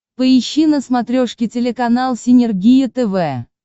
поищи на смотрешке телеканал синергия тв